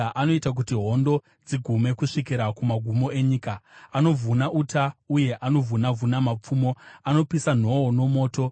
Anoita kuti hondo dzigume kusvikira kumagumo enyika; anovhuna uta uye anovhuna-vhuna mapfumo, anopisa nhoo nomoto.